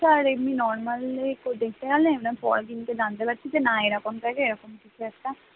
তো আর এমনি normal কেউ দেখে না পরের দিনকে জানতে পারছে যে এরকম থাকে এরকম কিছু একটা